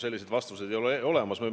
Selliseid vastuseid ei ole olemas.